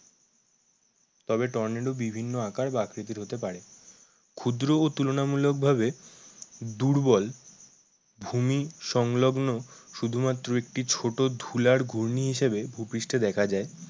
তবে টর্নেডো বিভিন্ন আকার ও আকৃতির হতে পারে। ক্ষুদ্র ও তুলনা মূলক ভাবে দুর্বল ভূমি সংলগ্ন শুধু মাত্র একটি ছোটো ধুলার ঘূর্ণি হিসাবে ভুপৃষ্ঠে দেখা যায়।